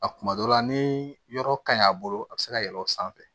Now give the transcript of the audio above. A kuma dɔ la ni yɔrɔ ka ɲi a bolo a bɛ se ka yɛlɛn o sanfɛ